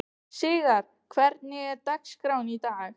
Sigarr, hvernig er dagskráin í dag?